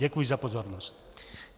Děkuji za pozornost.